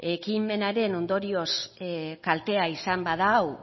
ekimenaren ondorioz kaltea izan badau